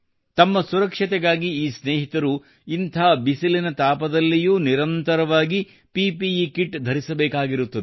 ತಮ್ಮ ಸುರಕ್ಷತೆಗಾಗಿ ಈ ಸ್ನೇಹಿತರು ಇಂಥ ಬಿಸಿಲಿನ ತಾಪದಲ್ಲಿಯೂ ನಿರಂತರವಾಗಿ ಪಿಪಿಇ ಕಿಟ್ ಧರಿಸಬೇಕಾಗಿರುತ್ತದೆ